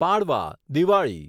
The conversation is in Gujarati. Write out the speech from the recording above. પાડવા દિવાળી